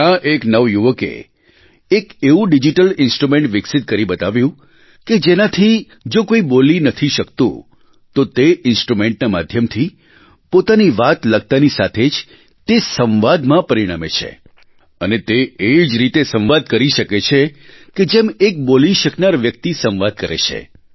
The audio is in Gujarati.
ત્યાં એક નવયુવકે એક એવું ડિજીટલ ઇન્સ્ટ્રુમેન્ટ વિકસિત કરી બતાવ્યું કે જેનાથી જો કોઇ બોલી નથી શકતું તો તે ઇન્સ્ટ્રુમેન્ટના માધ્યમથી પોતાની વાત લખતાની સાથે જ તે સંવાદમાં પરિણમે છે અને તે એ જ રીતે સંવાદ કરી શકે છે કે જેમ એક બોલી શકનાર વ્યક્તિ સંવાદ કરે છે